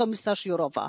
Pani komisarz Jourova!